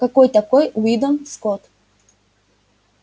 какой такой уидон скотт